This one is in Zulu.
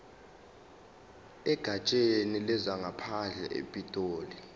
egatsheni lezangaphandle epitoli